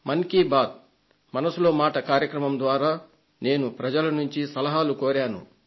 మన్ కీ బాత్ మనసులో మాట కార్యక్రమం ద్వారా నేను ప్రజల నుండి సలహాలు కోరాను